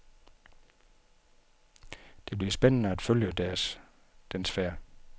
Det bliver spændende at følge dens færd.